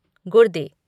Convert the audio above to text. गुर्दे